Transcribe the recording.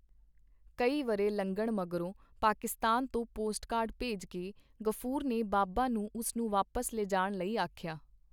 ਕਈ ਵਰ੍ਹੇ ਲੰਘਣ ਮਗਰੋਂ ਪਾਕਿਸਤਾਨ ਤੋਂ ਪੋਸਟਕਾਰਡ ਭੇਜ ਕੇ ਗ਼ਫੂਰ ਨੇ ਬਾਬਾ ਨੂੰ ਉਸ ਨੂੰ ਵਾਪਸ ਲਿਜਾਣ ਲਈ ਆਖਿਆ.